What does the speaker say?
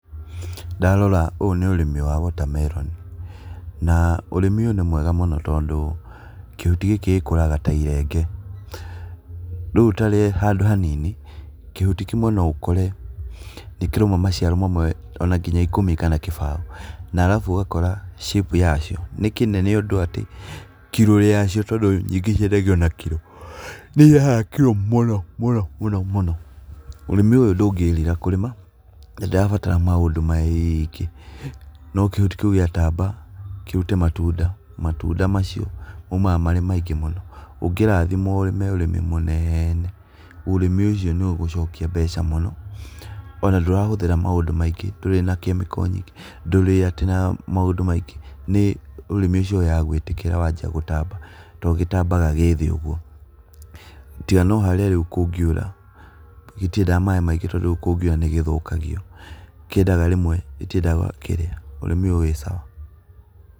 Ndarora ũũ nĩ ũrĩmi wa water melon ,na ũrĩmi ũyũ nĩ mwega mũno tondũ kĩhuti gĩkĩ gĩkũraga ta irenge, rĩũ tarĩ handũ hanini kĩhuti kĩmwe noũkore nĩkĩrĩ maciaro mamwe onanginyagia ikũmi kana kĩbao na arabu ũgakora shape ya cio nĩ kĩnene ũndũ atĩ kiro wacio tondũ nyingĩ ciendagio na kiro nĩ irehaga kiro mũnomũnomũno, ũrĩmĩ ũyũ ndũngĩrira kũrĩma na ndũrabatara maũndũ maingĩ, no kĩhuti kĩũ giataba, kĩrute matunda, matunda macio maũmaga marĩ maingĩ mũno, ũngĩrathimwo na ũrĩmi mũnene, ũrĩmi ũcio nĩũgũcokia mbeca mũno, onandũrahũthĩra maũndũ maingĩ ndũrĩ na chemical nyingĩ ,ndũrĩa tĩ na maũndũ maingĩ nĩ ũrĩmi ũcio wa gwĩtĩkĩra nawajia gũtamba tondũ gĩtambaga gĩthĩ ũguo, tiga noharĩa rĩu kũngĩũra gĩtĩendaga maĩ maingi tondũ kũu nĩgĩthũkagio, kĩendaga rĩmwe ũrĩmi ũyũ wĩ sawa.